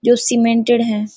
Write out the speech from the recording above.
जो सीमेंटेड है|